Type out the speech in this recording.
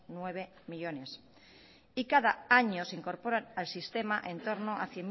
nueve millónes y cada año se incorpora al sistema entorno a